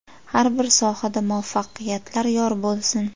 Har bir sohada muvaffaqiyatlar yor bo‘lsin!